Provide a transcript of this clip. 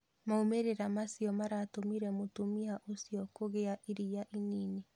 Maumĩrĩra mau maratũmire mũtumia ũcio kũgĩa iria inini.